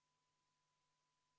Tähelepanu!